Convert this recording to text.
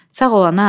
Sağ ol, ana.